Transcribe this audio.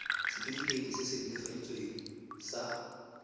setefikeiti se se netefaditsweng sa